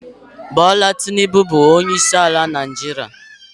Bula Tinubu bụ onyeisiala Naịjirịa.